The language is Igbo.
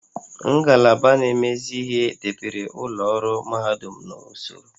Ngalaba na-emezi ihe debere ụlọ ọrụ mahadum n'usoro